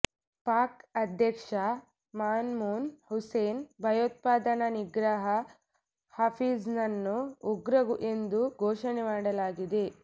ಪಾಕ್ ಅಧ್ಯಕ್ಷ ಮಮ್ನೂನ್ ಹಸೈನ್ ಭಯೋತ್ಪಾದನಾ ನಿಗ್ರಹ ಹಫೀಜ್ನನ್ನು ಉಗ್ರ ಎಂದು ಘೋಷಣೆ ಮಾಡಲಾಗಿದೆ